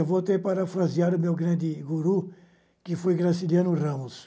Eu voltei para frasear o meu grande guru, que foi Graciliano Ramos.